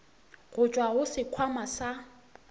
go tšwa go sekhwama sa